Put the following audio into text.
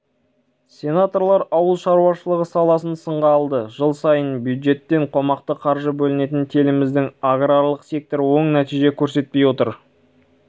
бүгін сенаттың отырысында ауыл шаруашылығы министрі асқар мырзахметовке осындай сын айтылды есеп комитетінің мәліметінше өткен жылы